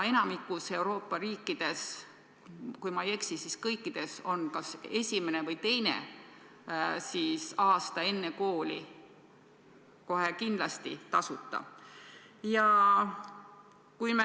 Enamikus Euroopa riikides, kui ma ei eksi, on kas üks või kaks aastat enne kooli alusharidus kindlasti tasuta.